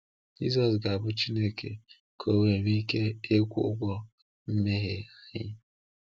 Jisọs ga-abụ Chineke ka O wee nwee ike ịkwụ ụgwọ mmehie anyị.